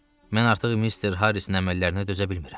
Mən artıq Mister Harrisin əməllərinə dözə bilmirəm.